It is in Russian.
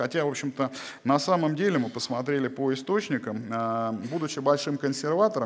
хотя в общем-то на самом деле мы посмотрели по источникам будучи большим консерватором